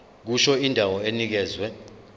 kusho indawo enikezwe